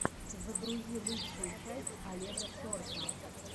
загрузи лучшую часть олега сорка